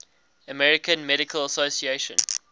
american medical association